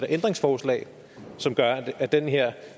ændringsforslag som gør at den her